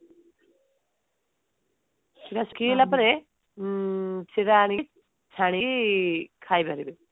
ସେଟ ଶୁଖିଗଲା ପରେ ହଁ ସେଟା ଆଣିକି ଛାଣି ଖାଇଦେବ